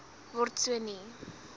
word so nie